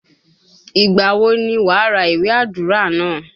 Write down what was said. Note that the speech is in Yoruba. Ìgbà wo ni wàá ra iwe àdúrà náà?